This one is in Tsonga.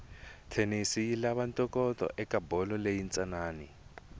tennis yilava ntokoto ekabholo leyinsanani